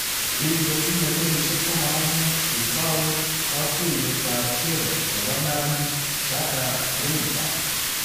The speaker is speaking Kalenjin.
Kiinkotinye kenyisyek 15, kitou kotuyet ap kee nebo neranik, Jaga-Rimba